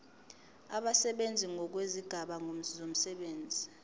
abasebenzi ngokwezigaba zomsebenzi